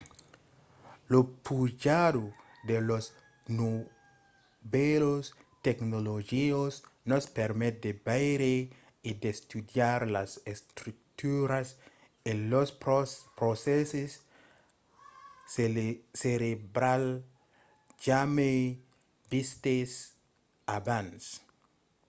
la pujada de las novèlas tecnologias nos permet de veire e d'estudiar las estructuras e los procèsses cerebrals jamai vistes abans